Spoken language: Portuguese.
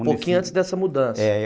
Um pouquinho antes dessa mudança. É.